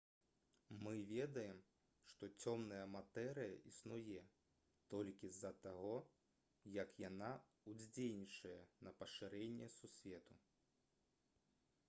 мы ведаем што цёмная матэрыя існуе толькі з-за таго як яна ўздзейнічае на пашырэнне сусвету